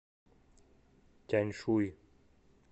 тяньшуй